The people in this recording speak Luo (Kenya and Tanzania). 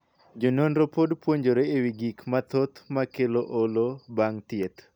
Jononro pod puonjore e wii gik mathoth makelo olo bang' thieth.